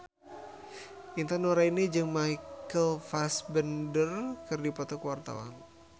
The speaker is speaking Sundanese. Intan Nuraini jeung Michael Fassbender keur dipoto ku wartawan